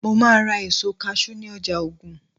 mo ma ra èso cashew ni ọjà ogun